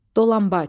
Dolanbac.